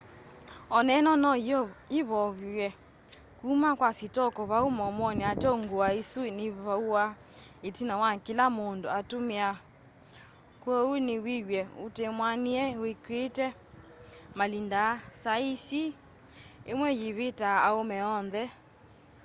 oneno no yivoywe kuma kwa sitoko vau muomoni ateo ngua isu nivuawa itina wa kila mundu atumia kwoou nowiw'e utemwianie wikiite malinda aa saisi imwe yiviti aume oonthe